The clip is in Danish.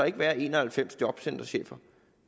ikke være en og halvfems jobcenterchefer